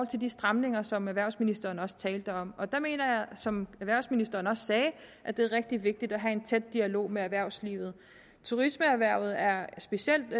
til de stramninger som erhvervsministeren også talte om og der mener jeg som erhvervsministeren også sagde at det er rigtig vigtigt at have en tæt dialog med erhvervslivet turismeerhvervet er specielt